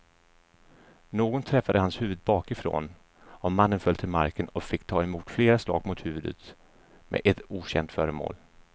Något träffade hans huvud bakifrån och mannen föll till marken och fick ta emot flera slag mot huvudet med ett okänt föremål.